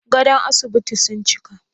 Gadon asibitin sun cika?